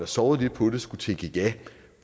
sovet lidt på det skulle tænke ja